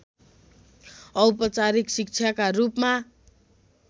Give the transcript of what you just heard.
औपचारिक शिक्षाका रूपमा